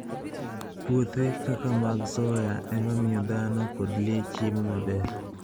Puothe kaka mag soya e ma miyo dhano kod le chiemo maber.